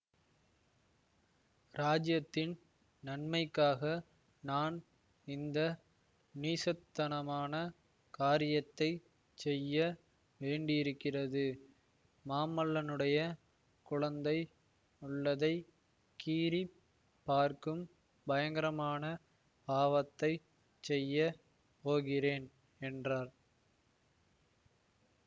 இராஜ்யத்தின் நன்மைக்காக நான் இந்த நீசத்தனமான காரியத்தை செய்ய வேண்டியிருக்கிறது மாமல்லனுடைய குழந்தை உள்ளத்தை கீறிப் பார்க்கும் பயங்கரமான பாவத்தை செய்ய போகிறேன் என்றார்